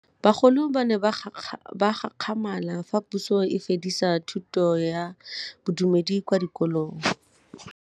Bagolo ba ne ba gakgamala fa Pusô e fedisa thutô ya Bodumedi kwa dikolong.